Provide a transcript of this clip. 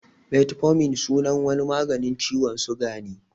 Metformin sunan wani maganin ciwon suga ne